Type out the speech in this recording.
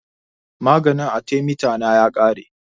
Maganin athemeta na ya ƙare